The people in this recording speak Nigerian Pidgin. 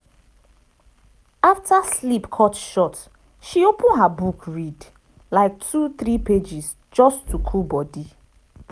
after sleep cut short she open her book read like two three pages just to cool body.